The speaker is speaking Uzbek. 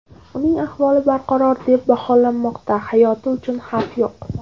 Uning ahvoli barqaror deb baholanmoqda, hayoti uchun xavf yo‘q.